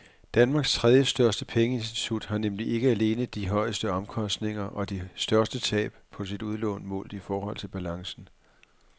Danmarks tredjestørste pengeinstitut har nemlig ikke alene de højeste omkostninger og de største tab på sine udlån målt i forhold til balancen.